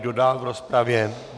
Kdo dál v rozpravě?